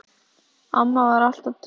Amma var alltaf trygg.